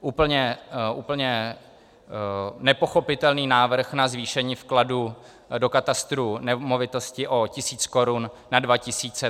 Úplně nepochopitelný návrh na zvýšení vkladu do katastru nemovitostí o tisíc korun na dva tisíce.